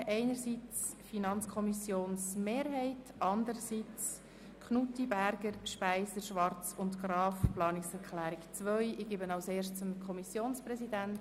E-Government: Es ist aufzuzeigen, wie insbesondere aufgrund der Digitalisierung Verwaltungseinheiten wie Handelsregister, Grundbuch-, Betreibungs- und Konkursämter, Regierungsstatthalterämter optimiert organisiert werden können.